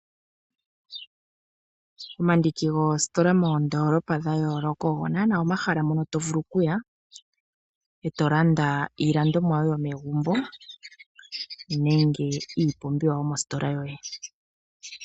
Omandiki goostola moondolopa dhayooloka ogonana omahala mono tovulu okuya eto landa iilandomwa yoye yomegumbo nenge iipumbiwa yomostola yoye.